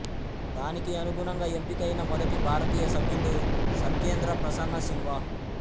దానికి అనుగుణంగా ఎంపికైన మొదటి భారతీయ సభ్యుడు సత్యేంద్ర ప్రసన్న సిన్హా